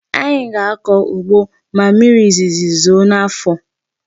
Anyị ga-akọ ugbo ma mmiri izizi zoo n'afọ.